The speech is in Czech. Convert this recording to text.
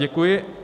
Děkuji.